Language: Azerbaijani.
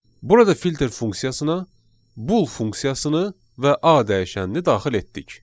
Burada filter funksiyasına bull funksiyasını və A dəyişənini daxil etdik.